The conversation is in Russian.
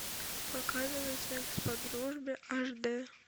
показывай секс по дружбе аш д